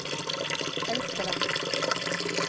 elskeren